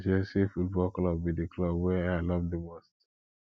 na chelsea football club be di club wey i love di most